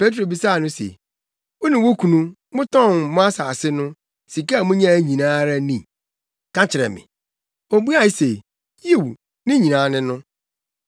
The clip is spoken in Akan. Petro bisaa no se, “Wo ne wo kunu, motɔn mo asase no, sika a munyae nyinaa ara ni? Ka kyerɛ me.” Obuaa se, “Yiw ne nyinaa ne no.”